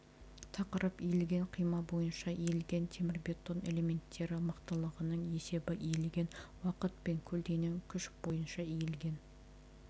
тақырып иілген қима бойынша иілген темірбетон элементтері мықтылығының есебі иілген уақыт пен көлденең күш бойынша иілген